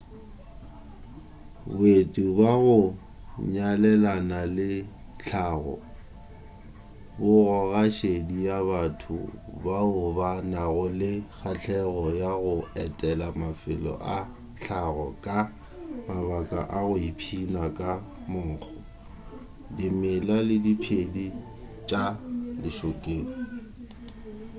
boeti bja go nyalelana le tlhago bo goga šedi ya batho bao ba nago le kgahlego ya go etela mafelo a tlhago ka mabaka a go ipshina ka monkgo dimela le diphedi tša lešokeng